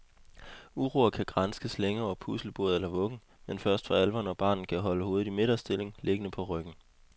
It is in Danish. Uroer kan granskes længe over puslebordet eller vuggen, men først for alvor når barnet kan holde hovedet i midterstilling, liggende på ryggen.